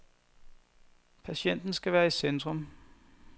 Patienten skal være i centrum.